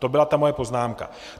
To byla ta moje poznámka.